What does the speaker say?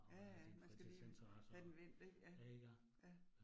Ja ja, man skal lige have den vendt ik. Ja, ja